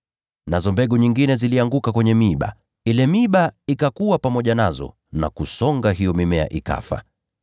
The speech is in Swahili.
Nazo mbegu nyingine zilianguka kwenye miiba, nayo ile miiba ikakua pamoja nazo, na kuisonga hiyo mimea.